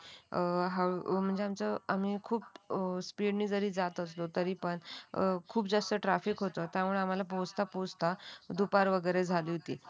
खूप जास्त ट्राफिक होत. त्यामुळे आम्हाला पोहोचता पोहोचता दुपार वगैरे झाली होती.